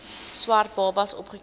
swart babas opgeteken